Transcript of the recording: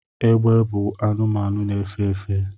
egbe bu anumanu na-efe efe